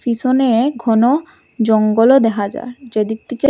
পিসনে ঘন জঙ্গলও দেখা যার যেদিক থেকে--